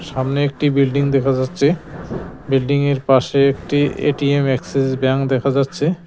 সামনে একটি বিল্ডিং দেখা যাচ্ছে বিল্ডিং এর পাশে একটি এ_টি_এম এক্সেস ব্যাঙ্ক দেখা যাচ্ছে।